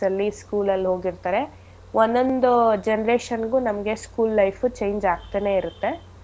ಅಲ್ಲಿ school ಅಲ್ ಹೋಗಿರ್ತರೆ ಒಂದೊಂದು generation ಗು ನಮ್ಗೆ school life ಉ change ಆಗ್ತನೇ ಇರತ್ತೆ.